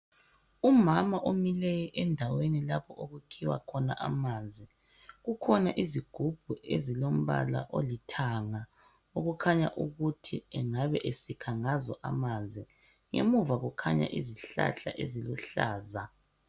Umama omileyo endaweni lapho okukhiwa khona amanzi kukhona izigubhu ezilombala olithanga okukhanya ukuthi engabe esikha ngazo amanzi ngemuva kukhanya izihlahla eziluhlaza.